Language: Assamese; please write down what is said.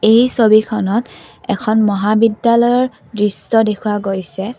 এই ছবিখনত এখন মহাবিদ্যালয়ৰ দৃশ্য দেখুওৱা গৈছে।